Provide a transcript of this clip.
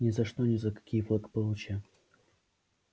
ни за что ни за какие благополучия